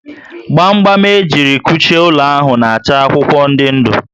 gba gba m ejiri kuchie ụlọ ahụ na acha akwụkwọ ndị ndụ